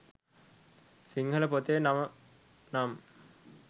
සිංහල පොතේ නම නම්